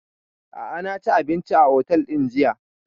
A'a na ci abinci a otel ɗin jiya